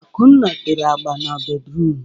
Akunna tere agba n'bédrụum.